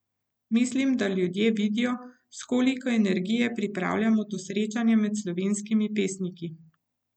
Mislim, da ljudje vidijo, s koliko energije pripravljamo to srečanje med slovenskimi pesniki.